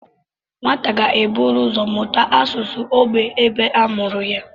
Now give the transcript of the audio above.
Nwata ga-eburu ụzọ mụta asụsụ ógbè ebe a mụrụ ya